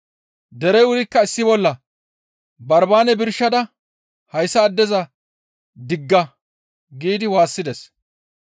Derey wurikka issi bolla, «Barbaane birshada hayssa addeza digga!» giidi waassides.